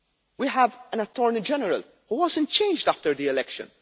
law. We have an Attorney General, who was not changed after the election.